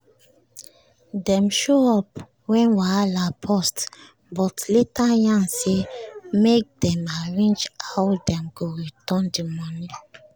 dem show up when wahala burst but later yarn say make dem arrange how dem go return the money